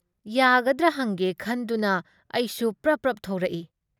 ꯌꯥꯒꯗ꯭ꯔ ꯍꯡꯒꯦ ꯈꯟꯗꯨꯅ ꯑꯩꯁꯨ ꯄ꯭ꯔꯞ ꯄ꯭ꯔꯞ ꯊꯣꯔꯛꯏ ꯫